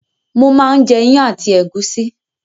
Mò máa ń jẹ iyán àti ẹ̀gúsí